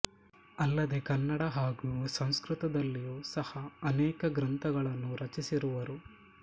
ಅಲ್ಲದೆ ಕನ್ನಡ ಹಾಗು ಸಂಸ್ಕೃತದಲ್ಲಿಯೂ ಸಹ ಅನೇಕ ಗ್ರಂಥಗಳನ್ನು ರಚಿಸಿರುವರು